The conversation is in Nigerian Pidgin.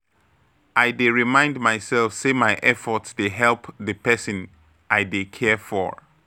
I dey remind myself say my effort dey help the person I dey care for.